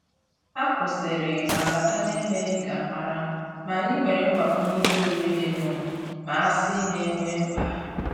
Hà kwụ́sị́rị̀ mà bátà n’èmèghị́ ká ámàrà, mà ànyị́ nwéré mgbàkwùnyé ìhè órírí dì nụ́, mà àsị́ nà é nwé mkpá.